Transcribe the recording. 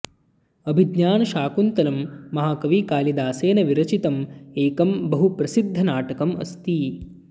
अभिज्ञान शाकुन्तलम् महाकवि कालिदासेन विरचितमेकं बहु प्रसिद्ध नाटकम् अस्ति